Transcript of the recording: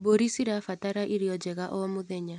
Mbũrĩ cirabatara irio njega o mũthenya.